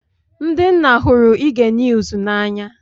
Ndị nna hụrụ ige niuz na anya.